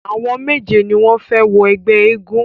Àwọn méje ni wọ́n fẹ wọ ẹgbẹ́ eégún.